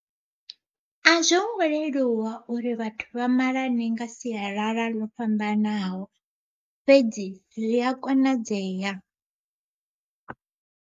A zwo ngo leluwa uri vhathu vhamalane nga sialala ḽo fhambanaho fhedzi zwi a konadzeya.